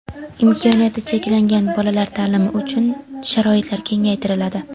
Imkoniyati cheklangan bolalar taʼlimi uchun sharoitlar kengaytiriladi.